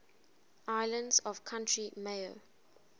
islands of county mayo